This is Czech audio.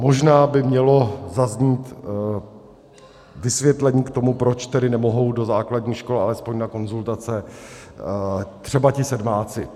Možná by mělo zaznít vysvětlení k tomu, proč tedy nemohou do základních škol alespoň na konzultace třeba ti sedmáci.